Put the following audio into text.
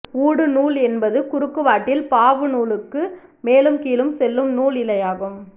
ஊடு நூல் என்பது குறுக்குவாட்டில் பாவு நூலுக்கு மேலும் கீழும் செல்லும் நூல் இழையாகும்